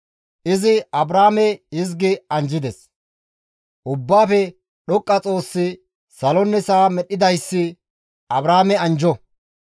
Izi Abraame hizgi anjjides; «Ubbaafe Dhoqqa Xoossi salonne sa7a medhdhidayssi Abraame anjjo.